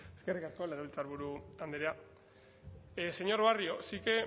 eskerrik asko legebiltzarburu andrea señor barrio sí que